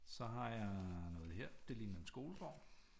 Så har jeg noget her det ligner en skolegård